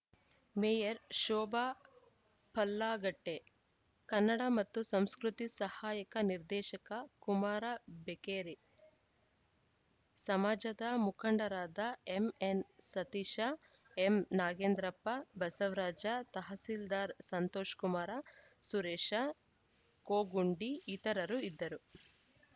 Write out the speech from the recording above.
mayor Shobha Pallagatte Kannada ಮತ್ತು ಸಂಸ್ಕೃತಿ ಸಹಾಯಕ ನಿರ್ದೇಶಕ ಕುಮಾರ ಬೆಕ್ಕೇರಿ ಸಮಾಜದ ಮುಖಂಡರಾದ ಎಂಎನ್‌ಸತೀಶ ಎಂನಾಗೇಂದ್ರಪ್ಪ ಬಸವರಾಜ ತಹಸೀಲ್ದಾರ್‌ ಸಂತೋಷಕುಮಾರ ಸುರೇಶ ಕೋಗುಂಡಿ ಇತರರು ಇದ್ದರು